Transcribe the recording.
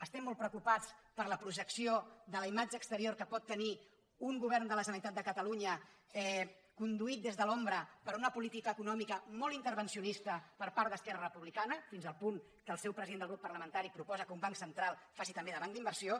estem molt preocupats per la projecció de la imatge exterior que pot tenir un govern de la generalitat de catalunya conduït des de l’ombra per una política econòmica molt intervencionista per part d’esquerra republicana fins al punt que el seu president de grup parlamentari proposa que un banc central faci també de banc d’inversió